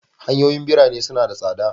Hanyoyin ɓirane suna da tsabta.